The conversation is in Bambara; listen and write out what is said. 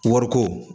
Wariko